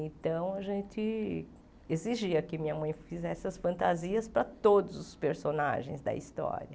Então, a gente exigia que minha mãe fizesse as fantasias para todos os personagens da história.